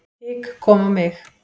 Hik kom á mig.